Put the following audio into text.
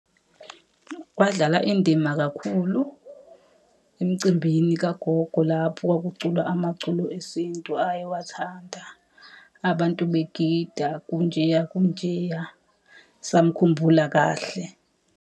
Kwadlala indima kakhulu emcimbini kagogo lapho kwakuculwa amaculo esintu ayewathanda. Abantu begida, kunjeya kunjeya. Samkhumbula kahle.